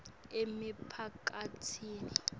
emiphakatsini